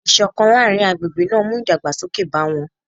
Ìṣọ̀kan láàrin agbègbè náà mú ìdàgbàsókè bá wọn